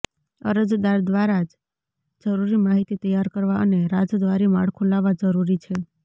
અરજદાર દ્વારા જ જરૂરી માહિતી તૈયાર કરવા અને રાજદ્વારી માળખું લાવવા જરૂરી છે